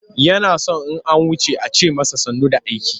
Yana son in an wuce a ce masa sannu da aiki.